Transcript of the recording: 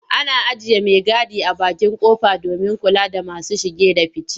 Ana aiye maigadi a bakin ƙofa domin kula da masu shige da five.